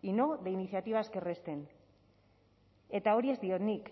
y no de iniciativas que resten eta hori ez diot nik